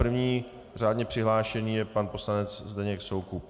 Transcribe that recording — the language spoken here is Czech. První řádně přihlášený je pan poslanec Zdeněk Soukup.